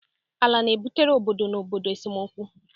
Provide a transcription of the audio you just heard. Ala na-ebutere obodo na obodo esemokwu.